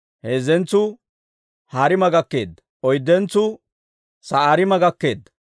Heezzentsuu Hariima gakkeedda. Oyddentsuu Sa'oorima gakkeedda.